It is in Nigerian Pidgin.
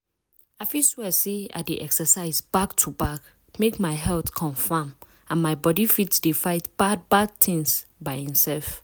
i fit swear say i dey exercise back to back make my health confam and my body fit dey fight bad bad things by imsef.